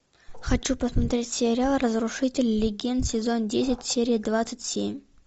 хочу посмотреть сериал разрушители легенд сезон десять серия двадцать семь